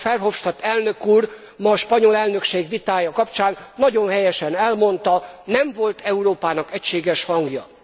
Ahogyan Verhofstadt elnök úr ma a spanyol elnökség vitája kapcsán nagyon helyesen elmondta, nem volt Európának egységes hangja.